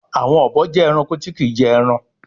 Àwọn obo jẹ Ẹranko tí kín jé èràn.